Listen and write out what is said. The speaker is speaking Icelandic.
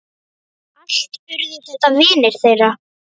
Allt urðu þetta vinir þeirra.